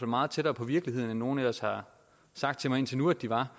meget tættere på virkeligheden end nogen ellers har sagt til mig indtil nu at de var